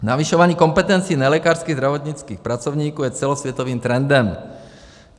Navyšování kompetencí nelékařských zdravotnických pracovníků je celosvětovým trendem.